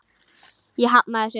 Ég hafnaði þessu.